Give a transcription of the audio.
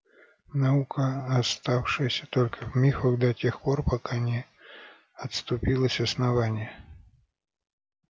наука оставшаяся только в мифах до тех пор пока не отступилось основание